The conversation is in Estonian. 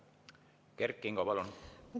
Kert Kingo, palun!